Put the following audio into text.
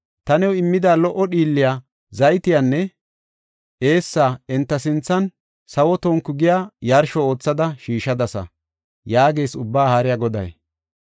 Ta new immida lo77o dhiilliya, zaytiyanne eessa enta sinthan sawo tonku giya yarsho oothada shiishadasa” yaagees Ubbaa Haariya Goday.